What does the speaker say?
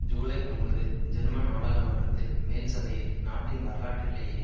ஜூலை ஒன்பது ஜெர்மன் நாடாளுமன்றத்தில் மேல் சபையில் நாட்டின் வரலாற்றிலேயே